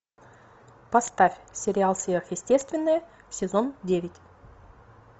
поставь сериал сверхъестественное сезон девять